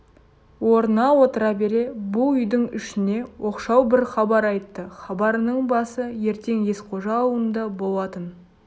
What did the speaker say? орнына отыра бере бұл үйдің ішіне оқшау бір хабар айтты хабарының басы ертең есқожа аулында болатын